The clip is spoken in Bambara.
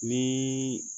Ni